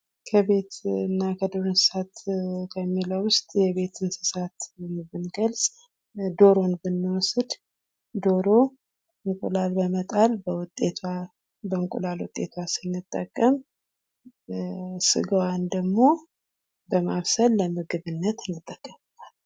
ከቤት እና ከዱር እንስሳት ከሚለው ውስጥ የቤት እንስሳት ብንገልጥ ዶሮን ብንወስድ ዶሮ እንቁላል በመጣል በውጤቷ በእንቁላል ውጤቷ ስንጠቀም ስጋዋን ደግሞ በማብሰል ለምግብነት እንጠቀምባታለን ።